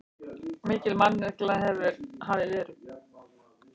Mikil mannekla hafi verið.